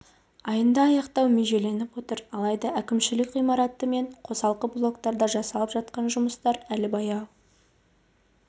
айында аяқтау межеленіп отыр алайда әкімшілік ғимараты мен қосалқы блоктарда жасалып жатқан жұмыстар әлі баяу